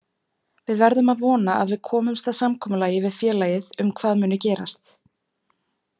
Við verðum að vona að við komumst að samkomulagi við félagið um hvað muni gerast.